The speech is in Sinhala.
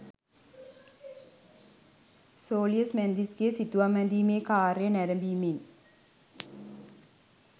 සෝලියස් මැන්දිස්ගේ සිතුවම් ඇඳීමේ කාර්යය නැරඹීමෙන්